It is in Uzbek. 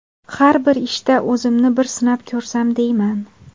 Har bir ishda o‘zimni bir sinab ko‘rsam deyman.